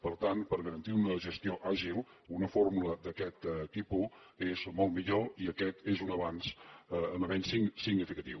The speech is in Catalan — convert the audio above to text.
per tant per garantir una gestió àgil una fórmula d’aquest tipus és molt millor i aquest és un avenç significatiu